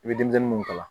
I bɛ denmisɛnnin mun kalan